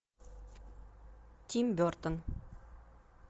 тим бертон